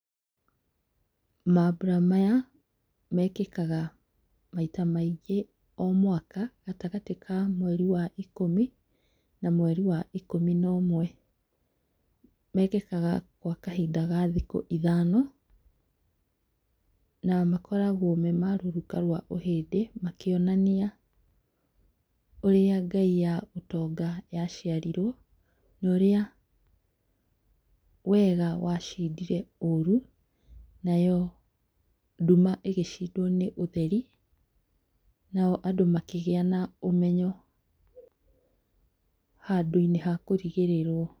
Mambũra maya mekĩkaga maita maingĩ o mwaka, gatagatĩ ka mweri wa ikũmi na mweri wa ikũmi na ũmwe. Mekĩkaga gwa kahinda ka thikũ ithano na makoragwo me ma rũruka ma ũhĩndĩ makĩonania ũrĩa ngai ya ũtonga yaciarirwo norĩa wega wa wacindire ũru nayo nduma ĩgĩcindwo nĩ ũtheri na andũ makĩgĩa na ũmenyo handũ-inĩ hakũrigĩrĩrwo.